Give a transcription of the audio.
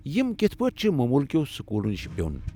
یم کتھہٕ پٲٹھۍ چھِ مومولكیو٘ سکولو نشہِ بیو٘ن ؟